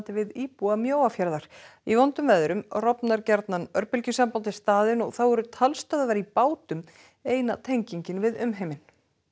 við íbúa Mjóafjarðar í vondum veðrum rofnar gjarnan örbylgjusamband við staðinn og þá eru talstöðvar í bátum eina tengingin við umheiminn